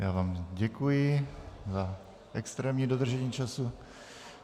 Já vám děkuji za extrémní dodržení času.